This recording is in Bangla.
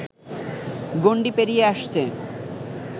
গণ্ডি পেরিয়ে আসছে